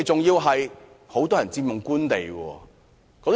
他們很多人更佔用官地。